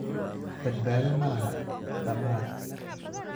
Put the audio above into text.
Badbaado ma laha dhamaad